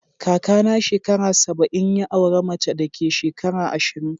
Kaka na shekara saba'in, ya aura mace da ke shekara ashirin.